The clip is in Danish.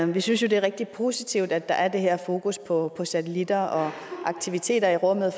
vi synes jo det er rigtig positivt at der er det her fokus på satellitter og aktiviteter i rummet